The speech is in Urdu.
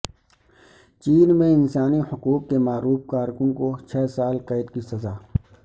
چین میں انسانی حقوق کےمعروف کارکن کو چھ سال قید کی سزا